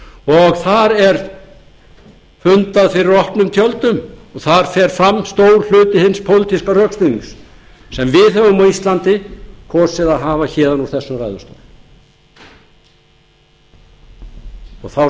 og þar er fundað fyrir opnum tjöldum og þar fer fram stór hluti hins pólitíska rökstuðnings sem við höfum á íslandi kosið að hafa héðan úr þessum ræðustól þá